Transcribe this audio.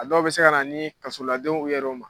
A dɔw bɛ se ka na ni kasoladonw ye u yɛrɛ ma.